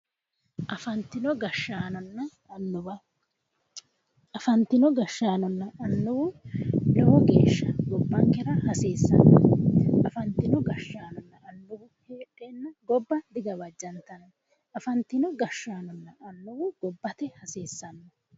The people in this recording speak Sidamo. Afantino gashshaanonna annuwu lowo geeshsha gobbankera hasiissanno. Afantino gashshaano heedheenna gobba digawajantanno. Afantino gashshaanonna annuwu gobbate hasiissanno.